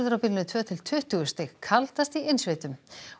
á bilinu tvö til tuttugu stig kaldast í innsveitum